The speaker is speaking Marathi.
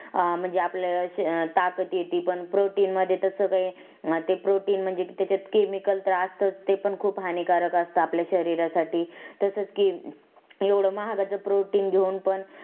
अं म्हणजे आपल्याला ताकात येती प protein मध्ये तस काही ते protein म्हणजे कि त्याच्यात chemical त्रास तर ते पण खूप हानिकारक असत शरीर साठी तसच कि एवढ महागाच protein घेऊन पण